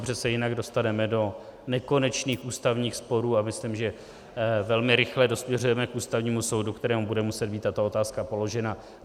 Protože se jinak dostaneme do nekonečných ústavních sporů a myslím, že velmi rychle dosměřujeme k Ústavnímu soudu, kterému bude muset být tato otázka položena.